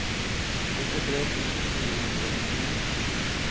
førtitre tusen fire hundre og nittini